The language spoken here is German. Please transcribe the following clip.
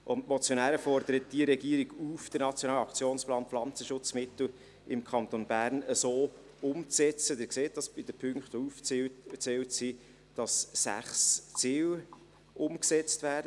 Die Motionäre fordern die Regierung auf, den Nationalen Aktionsplan Pflanzenschutzmittel im Kanton Bern so umzusetzen – Sie sehen das bei den Punkten, die aufgeführt werden –, dass sechs Ziele umgesetzt werden: